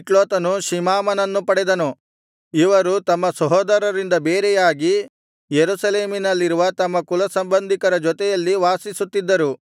ಮಿಕ್ಲೋತನು ಶಿಮಾಮನನ್ನು ಪಡೆದನು ಇವರು ತಮ್ಮ ಸಹೋದರರಿಂದ ಬೇರೆಯಾಗಿ ಯೆರೂಸಲೇಮಿನಲ್ಲಿರುವ ತಮ್ಮ ಕುಲಸಂಬಂಧಿಕರ ಜೊತೆಯಲ್ಲಿ ವಾಸಿಸುತ್ತಿದ್ದರು